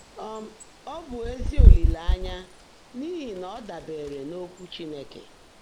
um Ọ́ bụ́ ézí ólìléényá n’íhí ná ọ́ dàbèèré n’Ókwụ́ Chínekè.